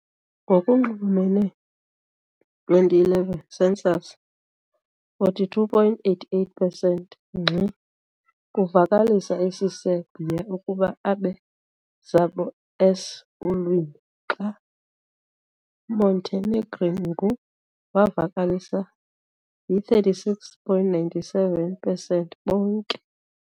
Ngokunxulumene 2011 census, 42.88 pesenti ngxi kuvakalisa isiserbia ukuba abe zabo s ulwimi, xa Montenegrin ngu wavakalisa yi-36.97 pesenti bonke.